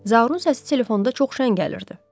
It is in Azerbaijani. Zaurun səsi telefonda çox şən gəlirdi.